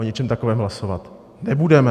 O ničem takovém hlasovat nebudeme.